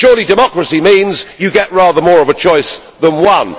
Surely, democracy means you get rather more of a choice than one.